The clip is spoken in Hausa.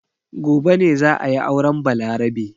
Gobe ne za a yi auren Balarabe.